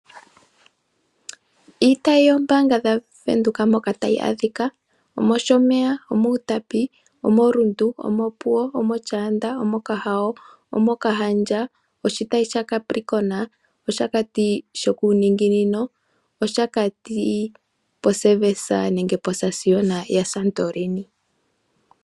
Iitayi yombaanga dhaWindhoek mpoka tayi adhika: Omoshomeya, omUtapi, omo Rundu, Opuwo, omoshaanda, omokahao, omOkahandja, oshitayi sha capricorn, oshakati shokuuninginino, oshakati po service nenge po sasiona ya Santorini.